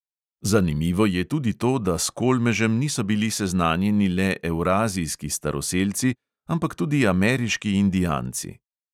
Zanimivo je tudi to, da s kolmežem niso bili seznanjeni le evrazijski staroselci, ampak tudi ameriški indijanci.